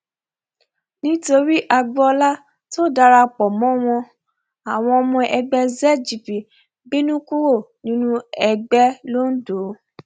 nítorí agboola tó dara pọ mọ wọn àwọn ọmọ ẹgbẹ zgp ń bínú kúrò nínú ẹgbẹ londo